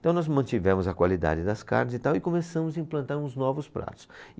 Então nós mantivemos a qualidade das carnes e tal e começamos a implantar uns novos pratos.